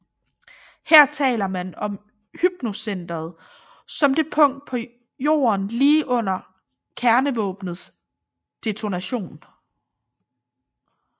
Her taler man om hypocenteret som det punkt på jorden lige under kernevåbnets detonation